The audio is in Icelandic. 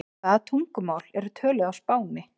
Hvaða tungumál eru töluð á Spáni?